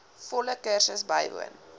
volle kursus bywoon